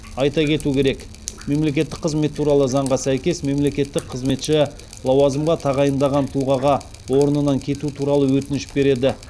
айта кету керек мемлекеттік қызмет туралы заңға сәйкес мемлекеттік қызметші лауазымға тағайындаған тұлғаға орнынан кету туралы өтініш береді